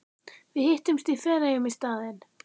Við hittumst í Feneyjum í staðinn.